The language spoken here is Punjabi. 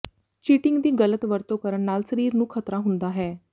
ਚੀਟਿੰਗ ਦੀ ਗਲਤ ਵਰਤੋਂ ਕਰਨ ਨਾਲ ਸਰੀਰ ਨੂੰ ਖ਼ਤਰਾ ਹੁੰਦਾ ਹੈ